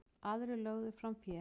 Aðrir lögðu fram fé.